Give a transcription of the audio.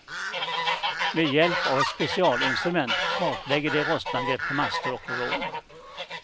Med hjälp av ett specialinstrument kartlägger de rostangrepp på master och rån.